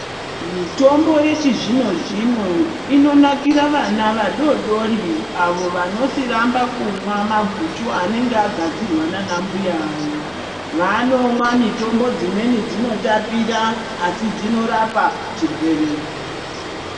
Mitombo yechizvino zvino inonakira vana vadodori avo vanosiramba kumwa maguchu anenge agadzirwa nana mbuya vavo vanomwa mutombo dzimweni dzinotapira asi dzinorapa chirwere .